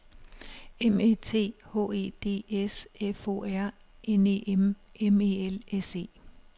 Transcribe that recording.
M Æ T H E D S F O R N E M M E L S E